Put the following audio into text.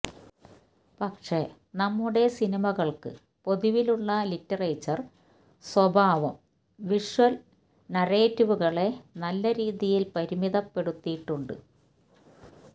പക്ഷേ നമ്മുടെ സിനിമകള്ക്ക് പൊതുവിലുള്ള ലിറ്ററേച്ചര് സ്വഭാവം വിഷ്വല് നരേറ്റീവുകളെ നല്ല രീതിയില് പരിമിതപ്പെടുത്തിയിട്ടുണ്ട്